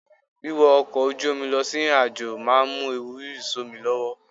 Wíwọ ọkọ̀ ojú omi lọ sí ìrìnàjò máa mú ewu rírì sómi lọ́wọ́.